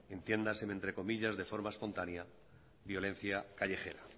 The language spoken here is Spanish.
entiéndaseme entro comillas de forma espontánea violencia callejera